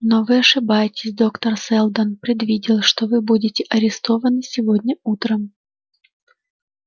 но вы ошибаетесь доктор сэлдон предвидел что вы будете арестованы сегодня утром